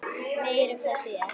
Meir um það síðar.